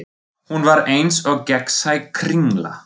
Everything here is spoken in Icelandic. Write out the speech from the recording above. Hún var eins og gegnsæ kringla.